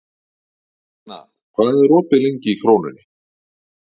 Þórsteina, hvað er opið lengi í Krónunni?